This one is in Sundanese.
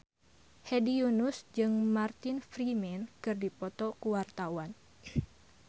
Hedi Yunus jeung Martin Freeman keur dipoto ku wartawan